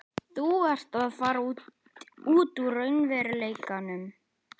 Þú ert að fara út úr raunveruleikanum.